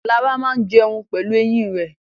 Lara máa jẹun pelu eyín rẹ̀.